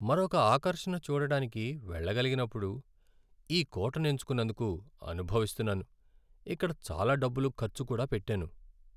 మరొక ఆకర్షణ చూడడానికి వెళ్ళగలిగినప్పుడు ఈ కోటను ఎంచుకున్నందుకు అనుభవిస్తున్నాను, ఇక్కడ చాలా డబ్బులు ఖర్చు కూడా పెట్టాను.